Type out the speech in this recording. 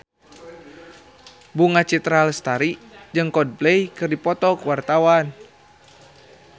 Bunga Citra Lestari jeung Coldplay keur dipoto ku wartawan